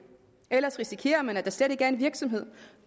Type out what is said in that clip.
ellers risikerer man at der slet ikke er en virksomhed